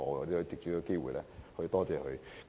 我想藉此機會感謝他們。